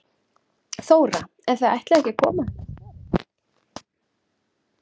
Þóra: En þið ætlið ekki að koma henni á sporið?